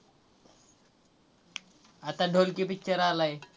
आता ढोलकी picture आलाय.